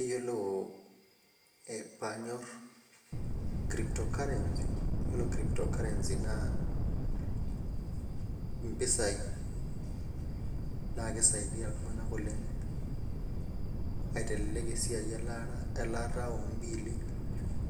Iyiolo paanyor crypto currency .ore crypto currency Nas mpisai. naaa kisaidia iltunganak oleng aiteleek esiai elaata oo biilli